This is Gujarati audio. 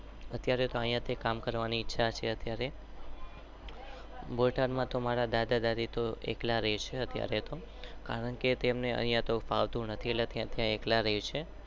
અત્યરે તો અહિયાં થી કામ કરવાની ઈચ્છા છે.